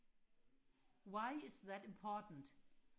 why is that important